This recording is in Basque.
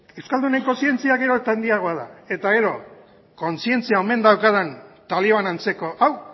euskalduneko zientzia gero eta handiagoa da eta gero kontzientzia omen daukadan taliban antzeko hau